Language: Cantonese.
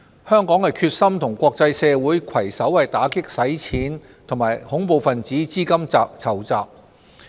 香港決心與國際社會攜手打擊洗錢及恐怖分子資金籌集。